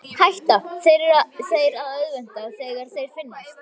Hætta þeir að örvænta þegar þeir finnast?